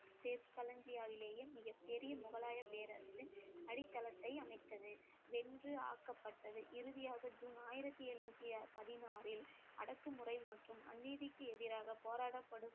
மிகப் பெரிய முகலாய பேரரசின் அடித்தளத்தை அமைத்தது வென்று ஆக்கப்பட்டது இறுதியாக ஜூன் ஆயிரத்தி எழுநூத்தி பதினாறில் அடக்குமுறை மற்றும் அநீதிக்கு எதிராக போராடப்படும்